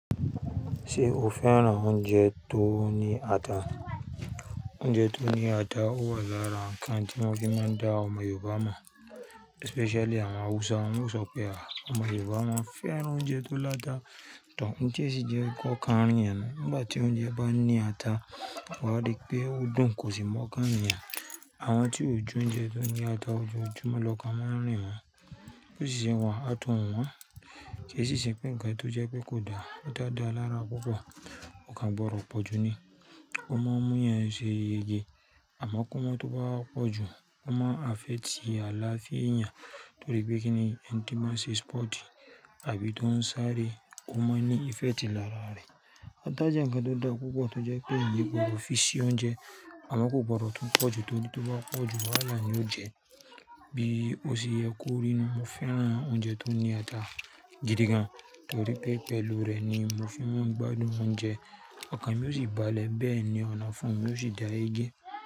Ṣé o fẹ́ràn oúnjẹ tó ní ata? Oúnjẹ tó ní ata ó wà lára ǹkan tí wọ́n fi máa ń dá ọmọ Yorùbá mọ̀, especially àwọn Hausa. Wọ́n ó sọ pé àwọn ọmọ Yorùbá máa ń fẹ́ràn oúnjẹ tó láta. To, ń ti o jẹ́ kò okan rìn eeyan nu. Nígbà tí oúnjẹ bá ní ata, wà á rí pé ó dùn kò sì mọ̀kan rìn yan. Àwọn tí ó je oúnjẹ tó ní ata, ojoojúmọ́ lọkan maa n rin wọ́n. Bo ṣìṣẹ́ wa, ata o won. Kì í sì ṣe pé ǹkan tó jẹ pé kò dáa, ata dáa lára púpọ̀, ko kàn gbọ̀dọ̀ pọ̀ ju ni. Ó má ń múyàn ṣe yege àmọ́ kó má tó bá wa pọ̀ jù, ó máa ń affect àlàáfía eeyàn nítorí pé kíni, ẹni tí máa ń ṣe sport àbí tó ń sáré, ó máa ń ní effect lára rẹ̀. Ata jẹ́ ǹkan tó dá púpọ̀ tó jẹ pé eeyan gbodo fi sí oúnjẹ àmọ́ kò gbọdọ̀ tún pọ̀ jù nítorí tó bá pọ̀ jù, wàhálà ni ó jẹ́, bí ó ṣe yẹ kó rí nú. Mo fẹ́ràn oúnjẹ tó ní ata gidi gan nítorí pé pẹ̀lú rẹ̀ ni mo fi maa ń gbádùn oúnjẹ. Okàn mi ó sì balẹ̀ bẹ́ẹ̀ ni ọ̀nafún mi ló sì dá yegé.